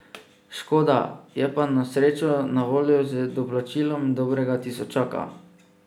Škoda, je pa na srečo na voljo z doplačilom dobrega tisočaka.